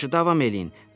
Yaxşı, davam eləyin.